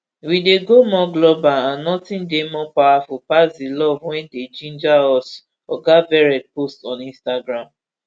we dey go more global and nothing dey more powerful pass di love wey dey ginger us oga verrett post on instagram